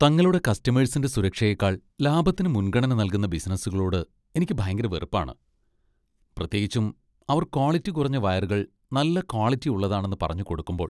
തങ്ങളുടെ കസ്റ്റമേഴ്സിന്റെ സുരക്ഷയേക്കാൾ ലാഭത്തിന് മുൻഗണന നൽകുന്ന ബിസിനസുകളോട് എനിക്ക് ഭയങ്കര വെറുപ്പാണ് , പ്രത്യേകിച്ചും അവർ ക്വാളിറ്റി കുറഞ്ഞ വയറുകൾ നല്ല ക്വാളിറ്റി ഉള്ളതാണെന്ന് പറഞ്ഞു കൊടുക്കുമ്പോൾ .